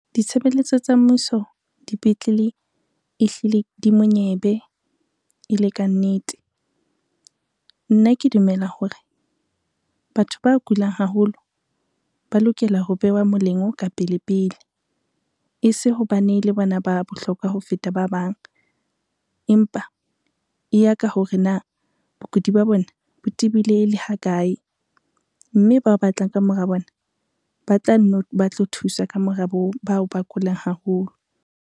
Ditshebeletso tsa mmuso dipetlele e hlile di monyebe e le ka nnete. Nna ke dumela hore, batho ba kulang haholo ba lokela ho bewa molemo ka pele pele e se hobane le bona ba bohlokwa ho feta ba bang. Empa e ya ka hore na bokudi ba bona bo tibileng e le ha kae, mme bao batlang ka mora bona ba tla nno ba tlo thusa ka mora bao ba kulang haholo.